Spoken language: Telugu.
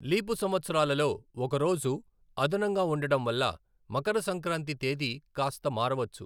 లీపు సంవత్సరాలలో ఒక రోజు అదనంగా ఉండడం వల్ల, మకర సంక్రాంతి తేదీ కాస్త మారవచ్చు.